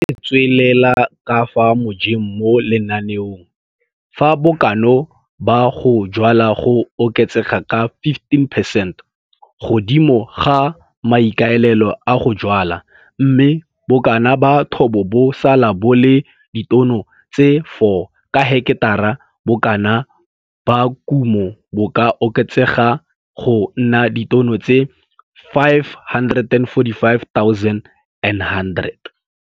Fa re tswelela ka fa mojeng mo lenaneong, fa bokana ba go jwala go oketsega ka 15 percent godimo ga maikaelelo a go jwala, mme bokana ba thobo bo sala bo le ditono tse 4 ka heketara, bokana ba kumo bo ka oketsega go nna ditono tse 545100.